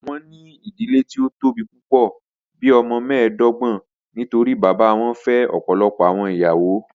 Wọn ni idile ti o tobi pupọ, bii ọmọ mẹẹdọgbọn nitori baba wọn fẹ ọpọlọpọ awọn iyawo.